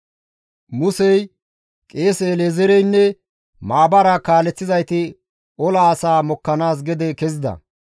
Musey qeese El7ezeereynne maabaraa kaaleththizayti ola asaa mokkanaas gede kezida.